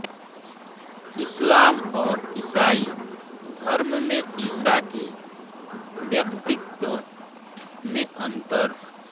इस्लाम और ईसाई धर्म में ईसा के व्यक्तित्व में अंतर